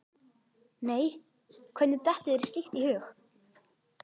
Nei, hvernig dettur þér slíkt í hug?